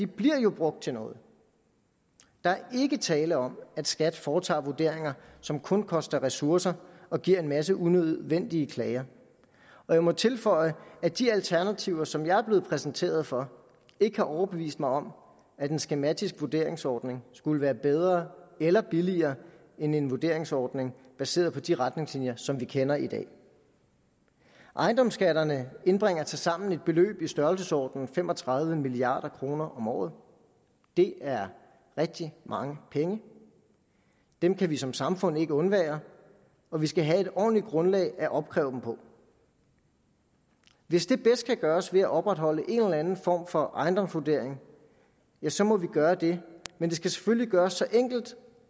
bliver jo brugt til noget der er ikke tale om at skat foretager vurderinger som kun koster ressourcer og giver en masse unødvendige klager jeg må tilføje at de alternativer som jeg er blevet præsenteret for ikke har overbevist mig om at en skematisk vurderingsordning skulle være bedre eller billigere end en vurderingsordning baseret på de retningslinjer som vi kender i dag ejendomsskatterne indbringer tilsammen et beløb i størrelsesordenen fem og tredive milliard kroner om året det er rigtig mange penge dem kan vi som samfund ikke undvære og vi skal have et ordentligt grundlag at opkræve dem på hvis det bedst kan gøres ved at opretholde en eller anden form for ejendomsvurdering så må vi gøre det men det skal selvfølgelig gøres så enkelt